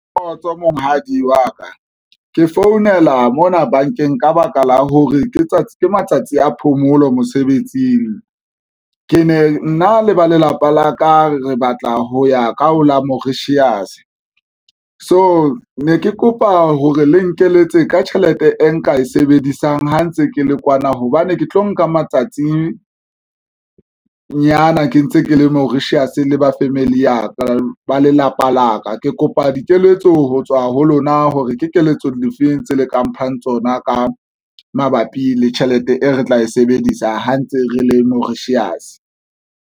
Kgotso monghadi wa ka ke founela mona bankeng, ka baka la hore ke tsatsi ke matsatsi a phomolo mosebetsing. Ke ne nna le ba lelapa la ka re batla ho ya ka ho la Mauritius. So ne ke kopa hore le nkeletse ka tjhelete e nka e sebedisang ha ntse ke le kwana, hobane ke tlo nka matsatsinyana ke ntse ke le Mauritius le ba family ya ka ba lelapa la ka. Ke kopa dikeletso ho tswa ho lona hore ke keletso difeng tse le ka mphang tsona ka mabapi le tjhelete e re tla e sebedisa ha ntse re le Mauritius.